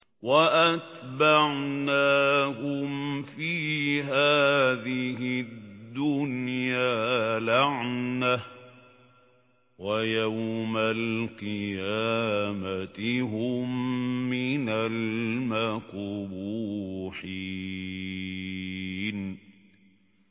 وَأَتْبَعْنَاهُمْ فِي هَٰذِهِ الدُّنْيَا لَعْنَةً ۖ وَيَوْمَ الْقِيَامَةِ هُم مِّنَ الْمَقْبُوحِينَ